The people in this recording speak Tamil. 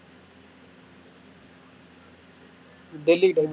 டில்லி கிட்ட உண்டு